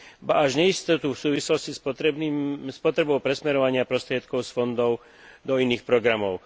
ba až neistotu v súvislosti s potrebou presmerovania prostriedkov z fondov do iných programov.